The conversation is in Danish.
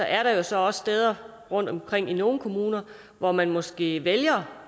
er der jo så også steder rundtomkring i nogle kommuner hvor man måske vælger